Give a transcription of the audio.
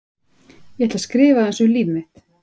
Ég ætla að skrifa aðeins um líf mitt.